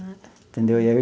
Ah, tá. Entendeu e aí.